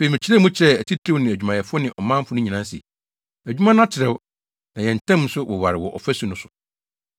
Afei, mekyerɛɛ mu kyerɛɛ atitiriw ne adwumayɛfo ne ɔmanfo no nyinaa se, “Adwuma no atrɛw, na yɛn ntam nso woware wɔ ɔfasu no so.